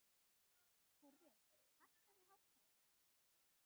Korri, hækkaðu í hátalaranum.